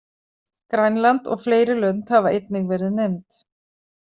Grænland og fleiri lönd hafa einnig verið nefnd.